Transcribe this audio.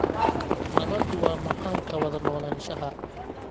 Nabaddu waa macaanka wada noolaanshaha